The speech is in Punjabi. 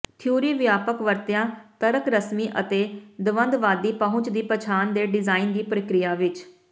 ਥਿਊਰੀ ਵਿਆਪਕ ਵਰਤਿਆ ਤਰਕ ਰਸਮੀ ਅਤੇ ਦਵੰਦਵਾਦੀ ਪਹੁੰਚ ਦੀ ਪਛਾਣ ਦੇ ਡਿਜ਼ਾਇਨ ਦੀ ਪ੍ਰਕਿਰਿਆ ਵਿਚ